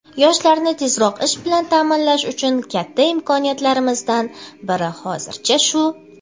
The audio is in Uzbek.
Yoshlarni tezroq ish bilan ta’minlash uchun katta imkoniyatlarimizdan biri hozircha shu.